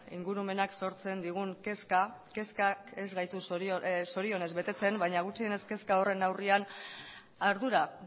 ingurumenak sortzen digun kezka kezkak ez gaitu zorionez betetzen baina gutxienez kezka horren aurrean ardura